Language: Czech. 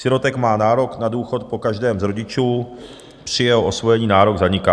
Sirotek má nárok na důchod po každém z rodičů, při jeho osvojení nárok zaniká.